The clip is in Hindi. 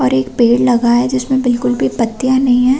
और एक पेड़ लगा है जिसमें बिलकुल भी पत्तियां नहीं हैं।